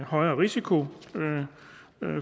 højere risiko